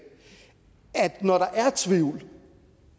at når der er tvivl